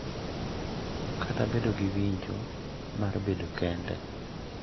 Kata bedo gi winjo mar bedo kende.